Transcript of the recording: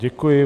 Děkuji.